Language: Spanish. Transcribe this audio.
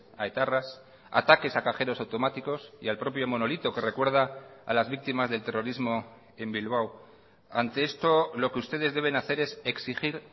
a etarras ataques a cajeros automáticos y al propio monolito que recuerda a las víctimas del terrorismo en bilbao ante esto lo que ustedes deben hacer es exigir